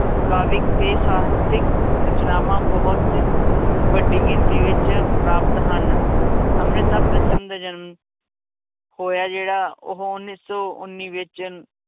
ਕਾਵਿਕ ਤੇ ਸਾਹਿਤਕ ਰਚਨਾਵਾਂ ਬਹੁਤ ਵੱਡੀ ਗਿਣਤੀ ਵਿੱਚ ਪ੍ਰਾਪਤ ਹਨ, ਅੰਮ੍ਰਿਤਾ ਪ੍ਰੀਤਮ ਦੇ ਜਨਮ ਹੋਇਆ ਜਿਹੜਾ ਉਹ ਉੱਨੀ ਸੌ ਉੱਨੀ ਵਿੱਚ